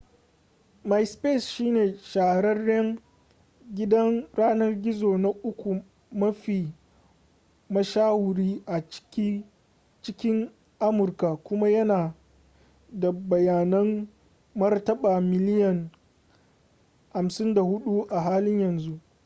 myspace shine shahararren gidan yanar gizo na uku mafi mashahuri a cikin amurka kuma yana da bayanan martaba miliyan 54 a halin yanzu